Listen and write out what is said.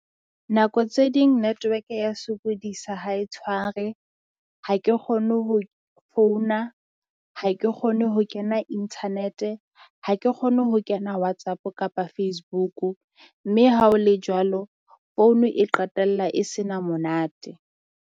Nako tse ding network ya sokodisa ha e tshware ha ke kgone ho founa, ha ke kgone ho kena internet-e, ha ke kgone ho kena Whatsapp kapa Facebook-o. Mme ha o le jwalo, phone e qetella e se na monate.